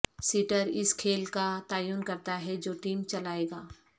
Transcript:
seater اس کھیل کا تعین کرتا ہے جو ٹیم چلائے گا